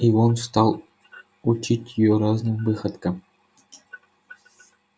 и он стал учить её разным выходкам